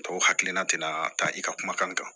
Tɔw hakilina tɛna taa i ka kumakan kan